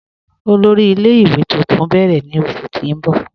Ọlọ́rì ilẹ̀-ìwé tuntun n bẹ̀rẹ̀ ni oṣù ti n bọ̀.